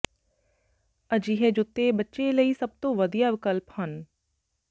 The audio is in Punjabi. ਅਜਿਹੇ ਜੁੱਤੇ ਬੱਚੇ ਲਈ ਸਭ ਤੋਂ ਵਧੀਆ ਵਿਕਲਪ ਹਨ